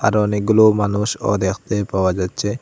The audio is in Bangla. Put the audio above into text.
আরো অনেকগুলো মানুষও দেখতে পাওয়া যাচ্চে ।